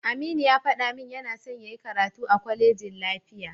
Aminu ya faɗa min yana son yayi karatu a kwalejin lafiya.